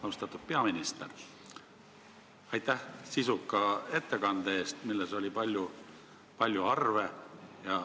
Austatud peaminister, aitäh sisuka ettekande eest, milles oli palju arve!